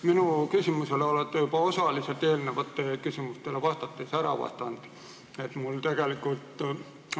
Minu küsimusele olete juba eelnevatele küsimustele vastates osaliselt ära vastanud.